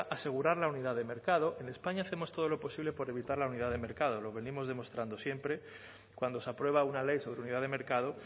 asegurar la unidad de mercado en españa hemos todo lo posible por evitar la unidad de mercado lo venimos demostrando siempre cuando se aprueba una ley sobre unidad de mercado